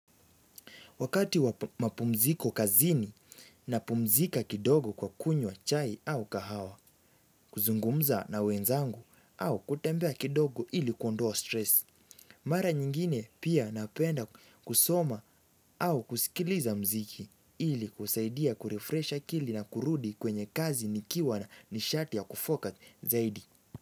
Wakati wa mapumziko kazini napumzika kidogo kwa kunywa chai au kahawa, kuzungumza na wenzangu au kutembea kidogo ili kuondoa stress. Mara nyingine pia napenda kusoma au kusikiliza muziki ili kusaidia kurefresh akili na kurudi kwenye kazi nikiwa na nishati ya kufoka zaidi.